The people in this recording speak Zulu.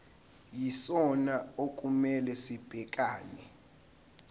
yisona okumele sibhekane